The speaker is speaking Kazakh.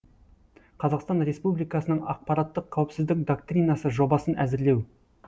қазақстан республикасының ақпараттық қауіпсіздік доктринасы жобасын әзірлеу